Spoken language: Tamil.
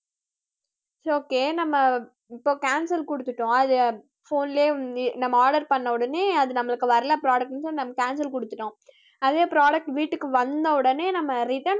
its okay நம்ம இப்போ cancel கொடுத்துட்டோம் அது phone லயே நம்ம order பண்ண உடனே அது நம்மளுக்கு வரல products நம்ம cancel கொடுத்துட்டோம் அதே product வீட்டுக்கு வந்த உடனே நம்ம return